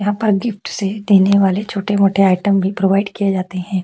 यहाँ पर गिफ्ट्स से देने वाले छोटे-छोटे मोठे आइटम भी प्रोवाइड किए जाते है।